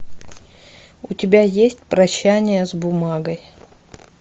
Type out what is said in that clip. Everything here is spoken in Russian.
у тебя есть прощание с бумагой